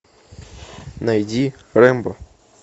найди рэмбо